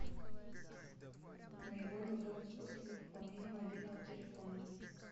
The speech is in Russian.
наиболее удобный способ для пополнения мобильного телефона